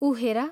उ हेर...